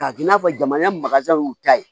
K'a k'i n'a fɔ jamana y'u ta ye